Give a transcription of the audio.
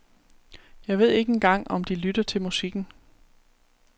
Jeg ved ikke engang om de lytter til musikken.